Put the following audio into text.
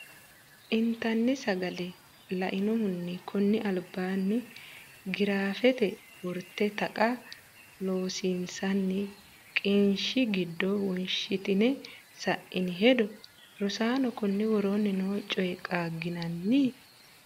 intani saagle laenohuni konni albaanni giraafete worte Taqa Loossinanni qiniishshi giddo wonshitine sa’ini hedo Rosaano, konni woroonni noo coy qaagginanni?.